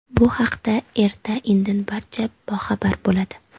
Bu haqida erta-indin barcha boxabar bo‘ladi.